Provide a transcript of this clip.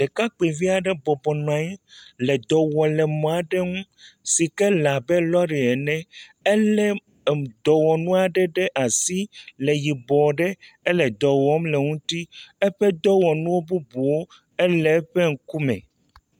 Ɖekakpui via ɖe bɔbɔ nɔanyi, le dɔwɔ le mɔa ɖe ŋu, si ke le abe lɔri ene, elé dɔwɔ nua ɖe ɖe asi, le yibɔ ɖe, ele dɔwɔm le ŋuti, eƒe dɔwɔ nuwo bubuwo ele eƒe ŋukume.